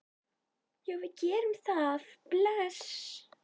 Já, við gerum það. Bless.